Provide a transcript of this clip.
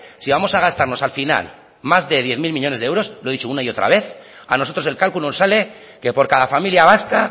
si vamos a gastarnos al final más de diez mil millónes de euros lo he dicho una y otra vez a nosotros el cálculo nos sale que por cada familia vasca